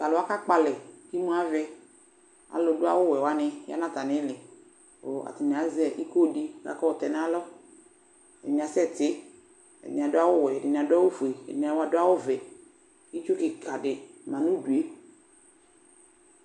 Tʋ alʋ wa kakpɔ alɛ kʋ imu avɛ Alʋdʋ awʋwɛ wanɩ ya atamɩ ɩɩlɩ kʋ atanɩ azɛ iko dɩ kʋ akayɔ tɛ nʋ alɔ Ɛdɩnɩ asɛtɩ Ɛdɩnɩ adʋ awʋwɛ, ɛdɩnɩ adʋ awʋfue, ɛdɩnɩ adʋ awʋvɛ kʋ itsu kɩka dɩ ma nʋ udu yɛ